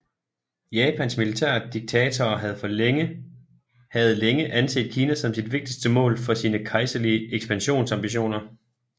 Japans militære diktatorer havde længe anset Kina som sit vigtigste mål for sine kejserlige ekspansionsambitioner